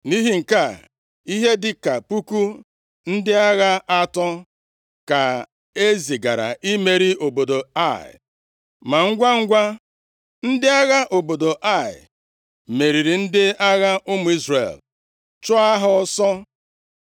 Nʼihi nke a, ihe dịka puku ndị agha atọ ka e zigara imeri obodo Ai. Ma ngwangwa, ndị agha obodo Ai meriri ndị agha ụmụ Izrel, chụọ ha ọsọ.